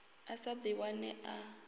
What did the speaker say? a sa ḓi wane a